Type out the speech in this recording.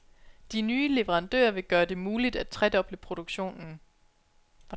De nye leverandører vil gøre det muligt at tredoble produktionen.